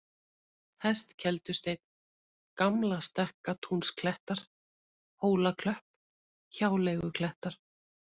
Hestkeldusteinn, Gamlastekkatúnsklettar, Hólaklöpp, Hjáleiguklettar